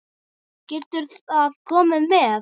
Gerðu það, komdu með.